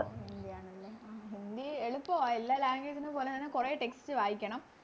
ഹിന്ദിയാണല്ലേ ഹിന്ദി എളുപ്പവ എല്ലാ Language നെ പോലെ തന്നെ കൊറേ Text വായിക്കണം